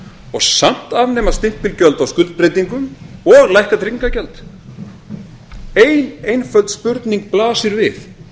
og samt afnema stimpilgjöld á skuldbreytingum og lækka trygginga gjald ein einföld spurning blasir við